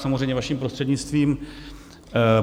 Samozřejmě vaším prostřednictvím.